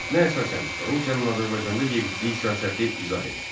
Mətnə əsasən Rusiyanın Azərbaycanda yeritdiyi siyasəti izah et.